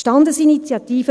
muss.